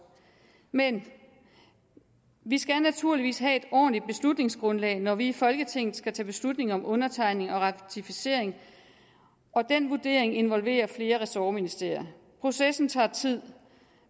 men vi skal naturligvis have et ordentligt beslutningsgrundlag når vi i folketinget skal tage beslutning om undertegning og ratificering og den vurdering involverer flere ressortministerier processen tager tid